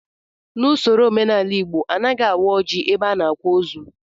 N'usoro omenala Igbo, anaghị awa ọjị ebe a na-akwa ozu